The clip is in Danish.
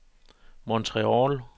Montreal